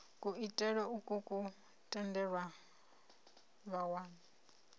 kuitele ukwu ku tendela vhawani